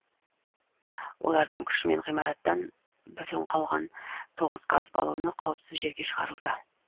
олардың күшімен ғимараттан бүтін қалған тоғыз газ баллоны қауіпсіз жерге шығарылды